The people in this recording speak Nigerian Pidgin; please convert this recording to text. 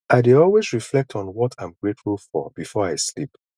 i dey always reflect on what im grateful for before i sleep